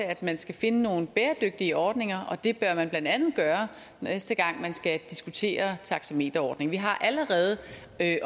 at man skal finde nogle bæredygtige ordninger og det bør man blandt andet gøre næste gang man skal diskutere taxameterordningen vi har allerede